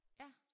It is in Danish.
Ja